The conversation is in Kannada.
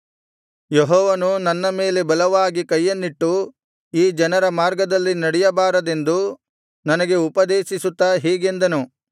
ಯೆಹೋವನು ನನ್ನ ಮೇಲೆ ಬಲವಾಗಿ ಕೈಯನ್ನಿಟ್ಟು ಈ ಜನರ ಮಾರ್ಗದಲ್ಲಿ ನಡೆಯಬಾರದೆಂದು ನನಗೆ ಉಪದೇಶಿಸುತ್ತಾ ಹೀಗೆಂದನು